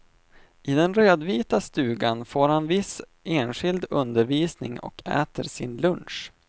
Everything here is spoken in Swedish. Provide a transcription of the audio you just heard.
I den rödvita stugan får han viss enskild undervisning och äter sin lunch.